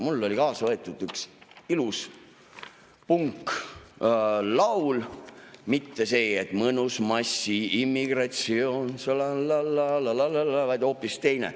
Mul oli kaasa võetud üks ilus punklaul, mitte see, et "mõnus massiimmigratsioon, lalallallaa, lalallallaa", vaid hoopis teine.